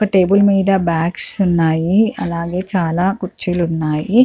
ఒక టేబుల్ మీద బాగ్స్ ఉన్నాయి అలాగే చాలా కుర్చీలు ఉన్నాయి.